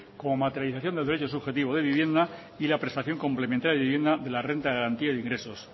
como materialización del derecho subjetivo de vivienda y la prestación complementaria de vivienda de la renta de garantía de ingresos